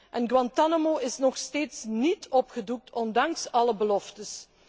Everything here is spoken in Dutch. En Guantánamo is nog steeds niet opgedoekt, ondanks alle beloftes.